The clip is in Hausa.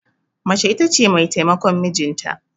Mace ita ce mai taimakon mijinta.